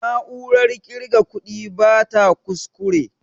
Na'urar ƙirga kuɗi bata ƙusƙure